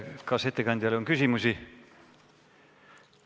Kas ettekandjale on küsimusi?